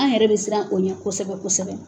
An yɛrɛ bɛ siran o ɲɛ kosɛbɛ kosɛbɛ.